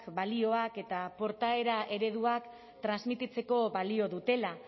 balioak eta portaera ereduak transmititzeko balio dutela